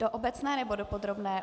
Do obecné, nebo do podrobné?